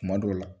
Kuma dɔw la